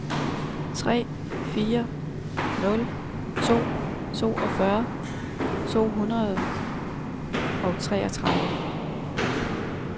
tre fire nul to toogfyrre to hundrede og treogtredive